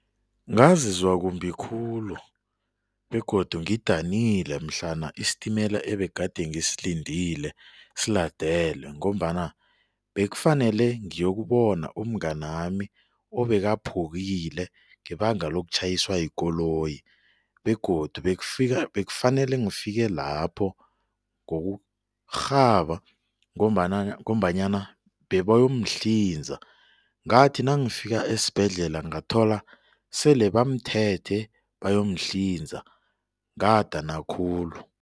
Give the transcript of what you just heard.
Ngazizwa kumbi khulu begodu ngidanile mhlana isitimela ebegade ngisilindile siladelwe ngombana bekufanele ngiyokubona umnganami obekaphukile ngebanga lokutjhayiswa yikoloyi begodu bekufanele ngifike lapho ngokurhaba ngombana ngombanyana bebayomhlinza. Ngathi nangifika esibhedlela ngathola sele bamthethe bayomhlinza, ngadana khulu.